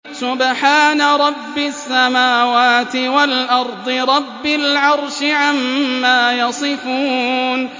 سُبْحَانَ رَبِّ السَّمَاوَاتِ وَالْأَرْضِ رَبِّ الْعَرْشِ عَمَّا يَصِفُونَ